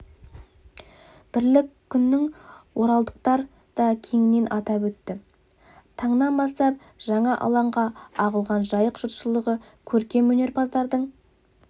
бірлік күнін оралдықтар да кеңінен атап өтті таңнан бастап жаңа алаңға ағылған жайық жұртшылығы көркем өнерпаздардың